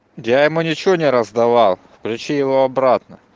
я ему ничего не раздавал включи его обратно